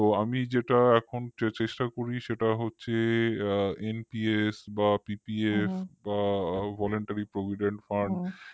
তো আমি এখন যেটা চেষ্টা করি সেটা হচ্ছে আ NPS বা PPF বা voluntary providend fund